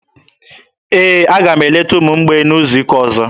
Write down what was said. Ee, aga m eleta ụmụ mgbei n'izu ụka ọzọ.